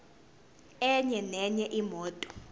enye nenye imoto